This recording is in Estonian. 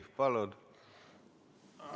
Palun!